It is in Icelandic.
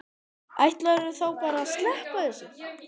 Ætlarðu þá bara að sleppa þessu?